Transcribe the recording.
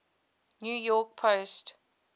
new york post